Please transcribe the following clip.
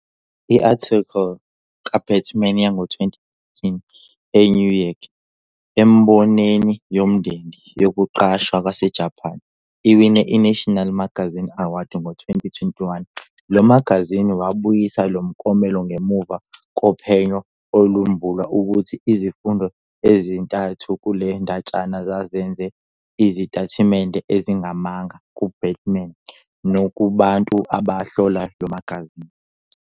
I-athikili kaBatuman yango-2018 "eNew Yorker" embonini yomndeni yokuqasha yaseJapan iwine iNational Magazine Award. Ngo-2021, lo magazini wabuyisa lo mklomelo ngemuva kophenyo olwembula ukuthi izifundo ezintathu kule ndatshana zazenze izitatimende ezingamanga kuBatuman nakubantu ababehlola lo magazini.